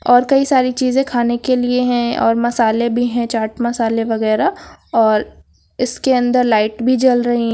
और कई सारी चीजें खाने के लिए हैं और मसाले भी हैं चाट मसाले वगैरा और इसके अंदर लाइट भी जल रही--